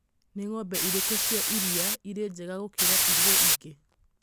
nĩ ng'ombe irĩkũ cia iria irĩ njega gũkĩra iria ingĩ